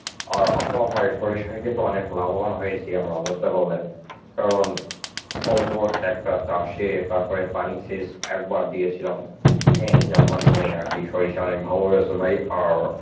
আর আপনার ভাই সরিষায় কিন্তু অনেক লাভবান হয়েছি আমরা, বুঝতে পারলেন? কারণ অল্প একটা চাষে তারপরে পানি সেচ একবার দিয়েছিলাম হ্যাঁ যার মাধ্যমেই আর কি সরিষা অনেক ভালো হয়েছে ভাই অর